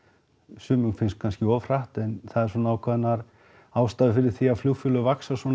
sumum finnst kannski of hratt en það eru svona ákveðnar ástæður fyrir því að flugfélög vaxa